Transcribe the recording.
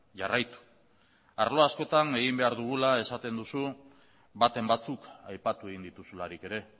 jarraitu arlo askotan egin behar dugula esaten duzu baten batzuk aipatu egin dituzularik ere